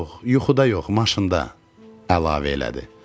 Yox, yuxuda yox, maşında, əlavə elədi.